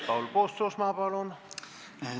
Paul Puustusmaa, palun!